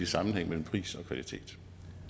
sammenhæng mellem pris og kvalitet